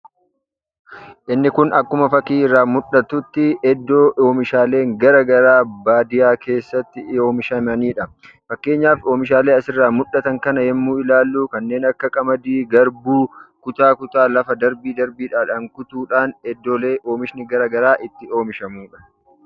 Inni Kun akkuma fakkii irraa muul'atutti iddoo oomishaalee garaa garaa baadiyyaa keessatti kan oomishamanii dha. Fakkeenyaaf oomishaalee kana irraa mul'atan yammuu ilaalluu kanneen akka qamadii, garbuu akkasumas kutaa kutaadhaan lafa darbiin kutuun iddoolee garaa garaa oomishni itti oomishamuu dha.